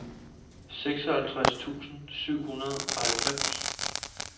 seksoghalvtreds tusind syv hundrede og halvfems